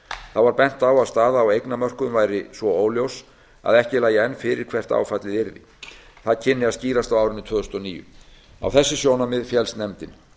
þá var bent á að staða á eignamörkuðum væri svo óljós að ekki lægi enn fyrir hvert áfallið yrði það kynni að skýrast á árinu tvö þúsund og níu á þessi sjónarmið féllst nefndin